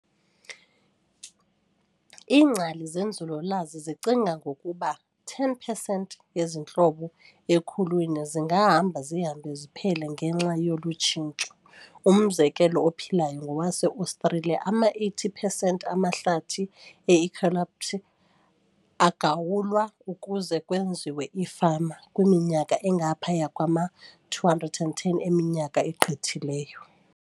Ingcali zenzululwazi zicinga okokuba 10 percent yezi ntlobo ekhulwini zingahamba zihambe ziphele ngenxa yolu tshintsho. Umzekelo ophilayo ngowase-Australia, ama-80 percent amahlathi e-eucalypt aagawulwa ukuze kwenziwe ifama kwiminyaka engaphaya kwa-210 eminyaka egqithileyo.